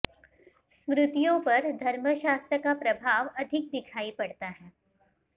स्मृतियों पर धर्मशास्त्र का प्रभाव अधिक दिखायी पड़ता है